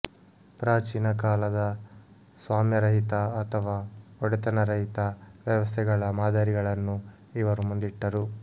ಪ್ರಾಚೀನ ಕಾಲದ ಸ್ವಾಮ್ಯರಹಿತ ಅಥವಾ ಒಡೆತನರಹಿತ ವ್ಯವಸ್ಥೆಗಳ ಮಾದರಿಗಳನ್ನು ಇವರು ಮುಂದಿಟ್ಟರು